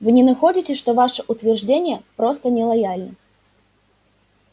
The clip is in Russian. вы не находите что ваше утверждение просто нелояльно